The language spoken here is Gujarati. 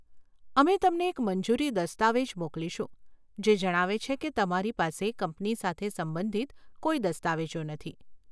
અમે તમને એક મંજૂરી દસ્તાવેજ મોકલીશું જે જણાવે છે કે તમારી પાસે કંપની સાથે સંબંધિત કોઈ દસ્તાવેજો નથી.